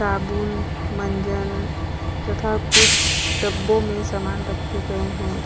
साबुन मंजन तथा कुछ डब्बों मे सामान रखे गए हैं।